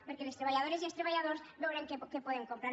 perquè les treballadores i els treballadors veurem què podem comprar